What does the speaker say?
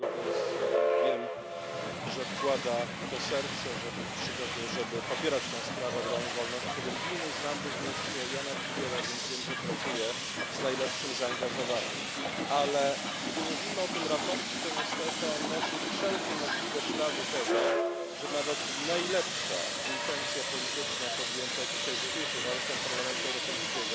Znam go, więc wiem, że wkłada serce w to, żeby popierać sprawę obrony wolności religijnej, znam również Jána Figela, więc wiem, że pracuje z najlepszym zaangażowaniem, ale gdy mówimy o tym sprawozdaniu, to niestety ono nosi wszelkie możliwe ślady tego, że nawet najlepsza intencja polityczna podjęta w dzisiejszych warunkach Parlamentu Europejskiego